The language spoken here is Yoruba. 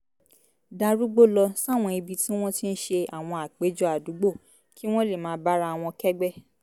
darúgbó lọ sáwọn ibi tí wọ́n ti ń ṣe àwọn àpéjọ àdúgbò kí wọ́n lè máa bára wọn kẹ́gbẹ́